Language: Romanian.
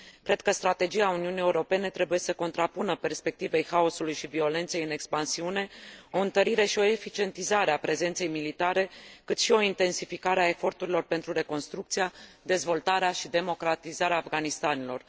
Cred că strategia Uniunii Europene trebuie să contrapună perspectivei haosului și violenței în expansiune o întărire și o eficientizare a prezenței militare, cât și o intensificare a eforturilor pentru reconstrucția, dezvoltarea și democratizarea Afghanistanului.